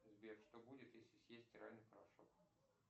сбер что будет если съесть стиральный порошок